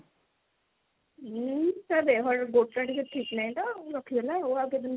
ଉଁ ତା ଦେହ ଟା ଗୋଡ ଟା ଟିକେ ଠିକ ନାଇଁ ତ ରଖିଦେଲା ଆଉ କେତେଦିନ